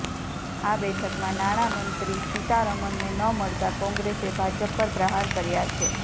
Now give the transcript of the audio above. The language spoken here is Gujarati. આ બેઠકમાં નાણામંત્રી સીતારમણને ન મળતા કોંગ્રેસે ભાજપ પર પ્રહાર કર્યા છે